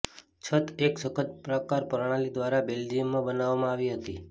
છત એક સખત પ્રકાર પ્રણાલી દ્વારા બેલ્જિયમમાં બનાવવામાં આવી હતી